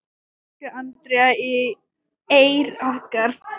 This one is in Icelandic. Elsku Andrea Eir okkar.